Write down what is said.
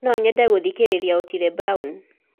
no nyende gũthĩkĩrĩrĩa otile brown